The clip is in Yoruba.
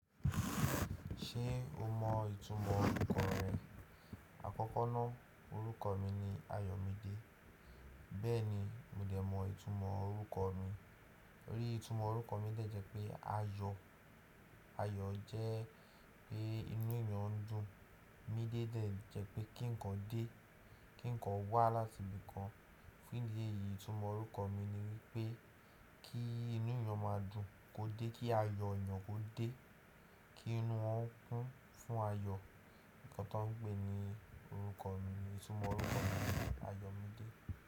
Ṣé o mọ ìtumọ̀ orúkọ rẹ? Àkọ́kọ́ ná, orúkọ mi ni Ayọ̀mídé. Bẹ́ẹ̀ ni mi ò de mọ ìtumọ̀ orúkọ mi. Òrí ìtumọ̀ orúkọ mi jẹ́ pé Ayọ̀. Ayọ̀ jẹ́ pé inú èèyàn ń dùn. Mídé jẹ́ pé kí ǹkan dé, kí ǹkan wá láti ibìkan. Fún ìdí èyí, ìtumọ̀ orúkọ mi ni wípé kí inú èèyàn máa dùn, kó dé kí ayọ̀ èèyàn kó dé, kí inú won okun fún ayọ̀. Ǹkan tán gbè ni orúkọ mi, ìtumọ̀ orúkọ mi ni Ayọ̀mídé.